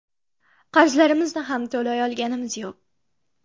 Qarzlarimizni ham to‘lay olganimiz yo‘q.